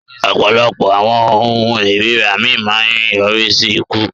Ọpọlọpọ awọn ohun ìríra mi maa ń nyorisi iku.